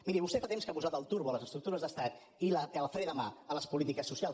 miri vostè fa temps que ha posat el turbo a les estructures d’estat i el fre de mà a les polítiques socials